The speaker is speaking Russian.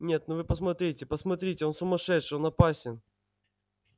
нет ну вы посмотрите посмотрите он сумасшедший он опасен